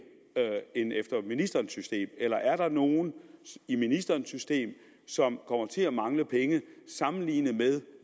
end efter ministerens system eller er der nogle i ministerens system som kommer til at mangle penge sammenlignet med